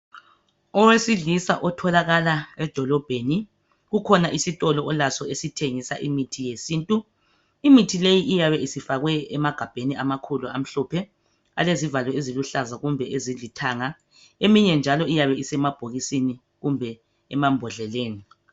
Owesilisa otholakala edolobheni kukhona isitolo olaso esithengisa imithi yesintu. Imithi leyi iyabe isifakwe emagabheni amakhulu amhlophe alezivalo eziluhlaza kumbe ezilithanga. Eminye njalo iyabe isemabhokisini kumbe emambodleleni.